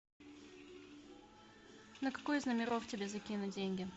на какой из номеров тебе закинуть деньги